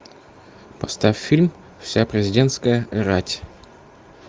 поставь фильм вся президентская рать